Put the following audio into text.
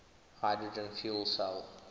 hydrogen fuel cell